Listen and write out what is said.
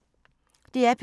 DR P2